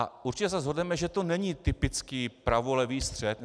A určitě se shodneme, že to není typický pravolevý střet.